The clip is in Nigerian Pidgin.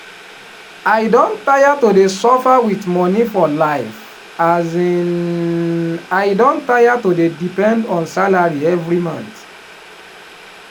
i don tire to dey suffer with money for life um i don tire to dey depend on salary every month